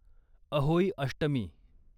Ahoi Ashtami